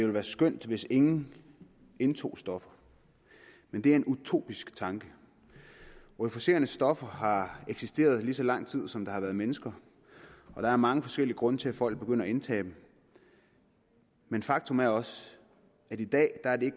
være skønt hvis ingen indtog stoffer men det er en utopisk tanke euforiserende stoffer har eksisteret lige så lang tid som der har været mennesker og der er mange forskellige grunde til at folk begynder at indtage dem men faktum er også at i dag er det